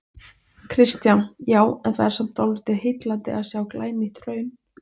Kristján: Já, en það er samt dálítið heillandi að sjá glænýtt hraun?